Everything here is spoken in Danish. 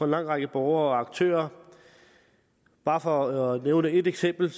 lang række borgere og aktører bare for at nævne et eksempel